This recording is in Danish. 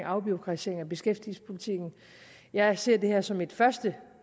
afbureaukratisering af beskæftigelsespolitikken jeg ser det her som et første